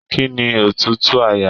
Kínní òtútù àyà?.